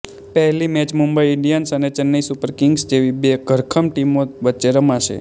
પહેલી match Mumbai Indians અને Chennai Super Kings જેવી બે ધરખમ ટીમો વચ્ચે રમાશે